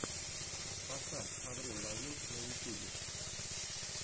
поставь аврил лавин на ютьюбе